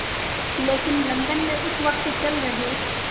लेकिन लंदन में उस वक़्त चल रहे